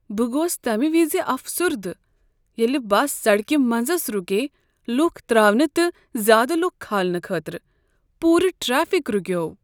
بہٕ گوس تمہ وز افسردہ ییٚلہ بس سڑکہ منزس رُکیے لُکھ تراونہٕ تہٕ زیادٕ لکھ کھالنہٕ خٲطرٕ۔ پوٗرٕ ٹریفک رُکیو۔